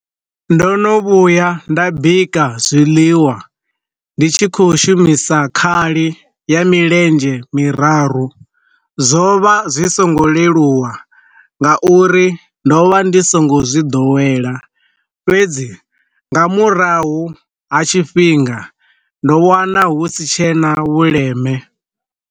Ndo no vhuya nda bika zwiḽiwa ndi tshi kho shumisa khali ya milenzhe miraru, zwo vha zwi songo leluwa nga uri ndo vha ndi songo zwi ḓowela, fhedzi nga murahu ha tshifhinga ndo wana hu si tshena vhuleme.